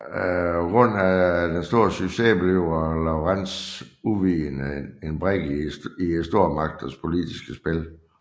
På grund af sin store succes bliver Lawrence uvidende en brik i stormagternes politiske spil